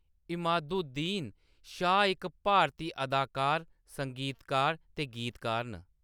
इमादुद्दीन शाह इक भारती अदाकार, संगीतकार ते गीतकार न।